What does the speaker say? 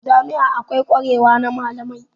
A jami'a akwai kwarewa na malamai.